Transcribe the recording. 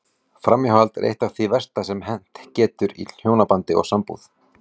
Framhjáhald er eitt af því versta sem hent getur í hjónabandi og sambúð.